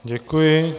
Děkuji.